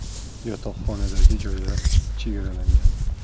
YOTOQXONAdagi joylar soni chegaralangan.